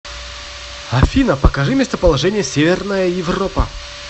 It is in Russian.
афина покажи местоположение северная европа